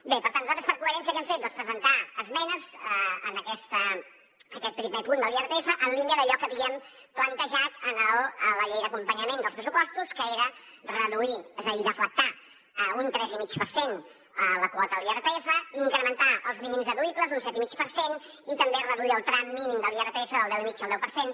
bé per tant nosaltres per coherència què hem fet doncs presentar esmenes en aquest primer punt de l’irpf en línia d’allò que havíem plantejat en la llei d’acompanyament dels pressupostos que era reduir és a dir deflactar un tres i mig per cent a la quota de l’irpf incrementar els mínims deduïbles un set i mig per cent i també reduir el tram mínim de l’irpf del deu i mig al deu per cent